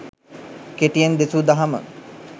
කෙටියෙන් දෙසූ දහම